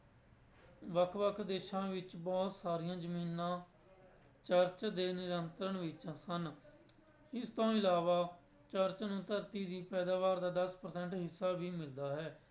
ਵੱਖ ਵੱਖ ਦੇਸਾਂ ਵਿੱਚ ਬਹੁਤ ਸਾਰੀਆਂ ਜ਼ਮੀਨਾਂ ਚਰਚ ਦੇ ਨਿਯੰਤਰਣ ਵਿੱਚ ਸਨ, ਇਸ ਤੋਂ ਇਲਾਵਾ ਚਰਚ ਨੂੰ ਧਰਤੀ ਦੀ ਪੈਦਾਵਾਰ ਦਾ ਦਸ percent ਹਿੱਸਾ ਵੀ ਮਿਲਦਾ ਹੈ।